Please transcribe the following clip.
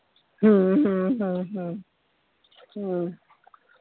ਹਮ ਹਮ ਹਮ ਹਮ ਹਮ